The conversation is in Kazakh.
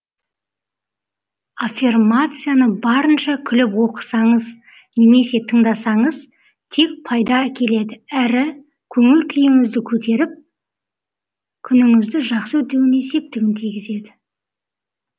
аффирмацияны барынша күліп оқысаңыз немесе тыңдасаңыз тек пайда әкеледі әрі көңіл күйіңізді көтеріп күніңізді жақсы өтуіне септігін тигізеді